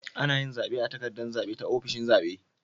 Anayin zabe a takaddar zabe ta ofishin zabe